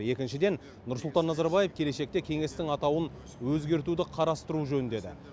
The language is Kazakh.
екіншіден нұрсұлтан назарбаев келешекте кеңестің атауын өзгертуді қарастыру жөн деді